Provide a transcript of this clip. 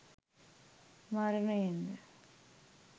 මරණයෙන් ද